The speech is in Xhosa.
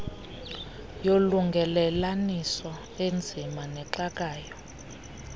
yolungelelaniso enzima nexakayo